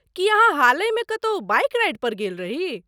की अहाँ हालहिमे कतौ बाइक राइडपर गेल रही ?